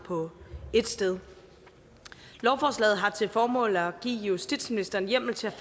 på ét sted lovforslaget har til formål at give justitsministeren hjemmel til